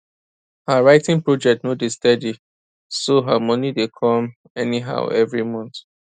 her writing project no dey steady so her money dey come anyhow evri month